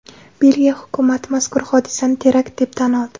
Belgiya hukumati mazkur hodisani terakt deb tan oldi .